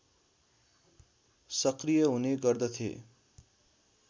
सक्रिय हुने गर्दथे